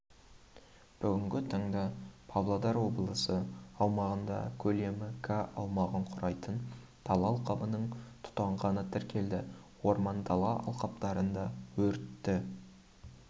бүгінгі таңда павлодар облысы аумағында көлемі га аумағын құрайтын дала алқабының тұтанғаны тіркелді орман-дала алқаптарында өртті